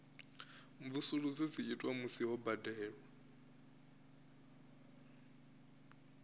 mvusuludzo dzi itwa musi ho badelwa